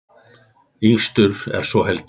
Yngstur er svo Helgi.